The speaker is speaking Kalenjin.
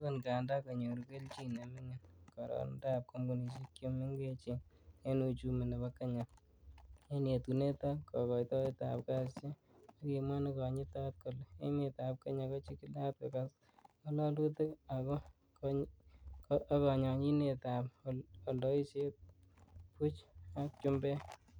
Agot ngadan konyoru kelchin nemingin karironindab kompunisiek che mengechen en uchumi nebo Kenya, en yetunet ak kogoitoet ab kasisiek, kokimwa Nekonyitot kole emetab kenya ko chigilat koges ngololutik agobo konyonyinet ab oldeisietab buch ak chumbek.